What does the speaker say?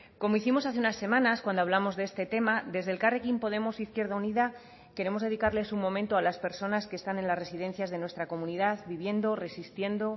como hicimos hace unas semanas cuando hablamos de este tema desde elkarrekin podemos izquierda unida queremos dedicarles un momento a las personas que están en las residencias de nuestra comunidad viviendo resistiendo